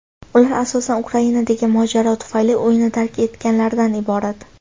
Ular asosan Ukrainadagi mojaro tufayli uyini tark etganlardan iborat.